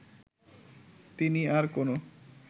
তিনি আর কোনো